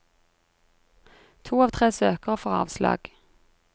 To av tre søkere får avslag.